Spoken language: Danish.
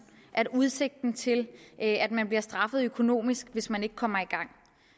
at have udsigt til at man bliver straffet økonomisk hvis man ikke kommer i gang